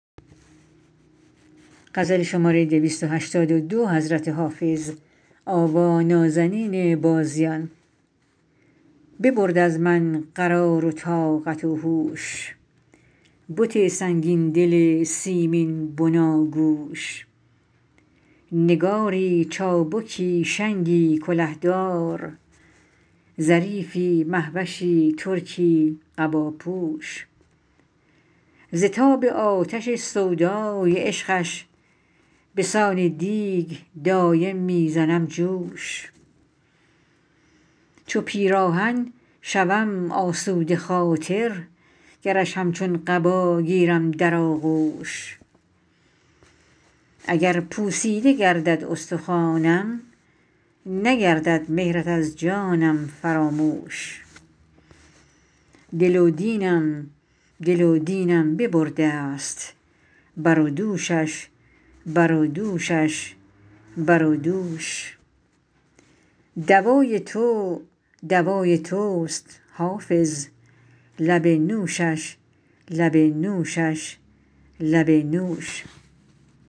ببرد از من قرار و طاقت و هوش بت سنگین دل سیمین بناگوش نگاری چابکی شنگی کله دار ظریفی مه وشی ترکی قباپوش ز تاب آتش سودای عشقش به سان دیگ دایم می زنم جوش چو پیراهن شوم آسوده خاطر گرش همچون قبا گیرم در آغوش اگر پوسیده گردد استخوانم نگردد مهرت از جانم فراموش دل و دینم دل و دینم ببرده ست بر و دوشش بر و دوشش بر و دوش دوای تو دوای توست حافظ لب نوشش لب نوشش لب نوش